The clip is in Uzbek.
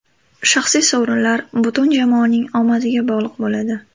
Shaxsiy sovrinlar butun jamoaning omadiga bog‘liq bo‘ladi.